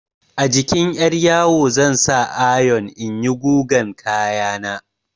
A jikin 'yaryawo zan sa ayon in yi gugan kaya na.